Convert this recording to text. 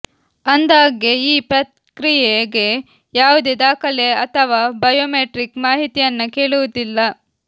ಅಂದ್ಹಾಗೆ ಈ ಪ್ರಕ್ರಿಯೆಗೆ ಯಾವುದೇ ದಾಖಲೆ ಅಥವಾ ಬಯೋಮೆಟ್ರಿಕ್ ಮಾಹಿತಿಯನ್ನ ಕೇಳುವುದಿಲ್ಲ